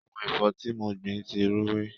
Àwọn ẹ̀fọ́ tí mo gbìn ti ń rúwé.